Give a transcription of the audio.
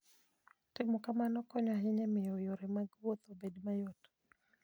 Timo kamano konyo ahinya e miyo yore mag wuoth obed mayot.